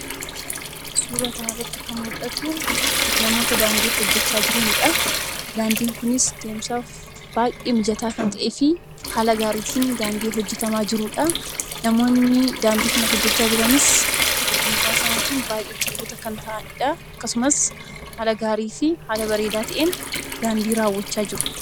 Suura kana irratti kan mul'atu, namoota daandii hojjechaa jiranidha. Daandiin kunis deemsaaf baayyee mijataa kan ta'ee fi haala gaariitiin daandii hojjetamaa jiruudha. Namoonni daandii sana hojjechaa jiranis ogummaa isaaniitiin baayyee cimoo kan ta'aniidha. akkasumas haala bareedaa ta'een daandii raawwachaa jiru.